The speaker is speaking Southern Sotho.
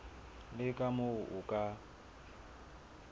le ka moo o ka